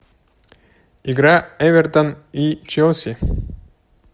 игра эвертон и челси